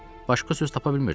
Başqa söz tapa bilmirdim.